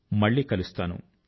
మళ్ళీ కలుస్తాను